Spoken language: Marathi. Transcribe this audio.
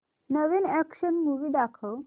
नवीन अॅक्शन मूवी दाखव